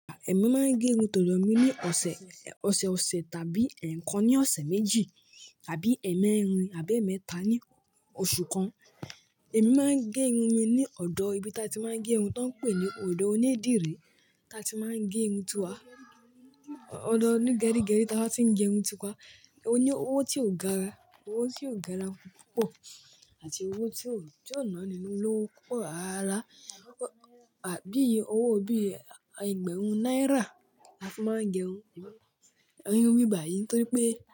Èmi máa ń gé irun tó lọ mí ní ọ̀sẹ̀, ọ̀sẹ̀ ọ̀sẹ̀ tàbí ẹ̀ẹ̀kan ní ọ̀sẹ̀ méjì tàbí ẹẹ̀mẹrin àbẹ́ẹ̀mẹ́ta ní oṣù kan. Èmi máa ń gé irun mi ní ọ̀dọ̀ ibi tí a ti máa ń gé irun tó ń pè ní ọ̀dọ̀ onídìrí tí a ti máa ń gé irun tu wa. Ọ̀dọ̀ oní gẹrí gẹrí tí a bá ti ń gé irun tu wa. Ó ní owó tí ó gara, owó tí ó gara púpọ̀ àti owó tí ò náání nínú owó púpọ̀ rárá. Àbí owó bí i ẹgbẹ̀rún náírà la ti máa ń gé irun. Irun bíbà yìí torí pé.